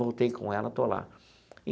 Voltei com ela, estou lá.